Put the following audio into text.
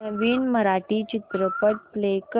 नवीन मराठी चित्रपट प्ले कर